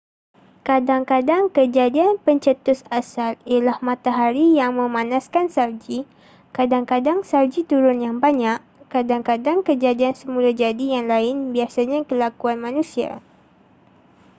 kadang-kadang kejadian pencetus asal ialah matahari yang memanaskan salji kadang-kadang salji turun yang banyak kadang-kadang kejadian semula jadi yang lain biasanya kelakuan manusia